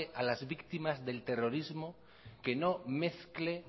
a las víctimas del terrorismo que no mezcle